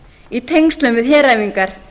í tengslum við heræfingar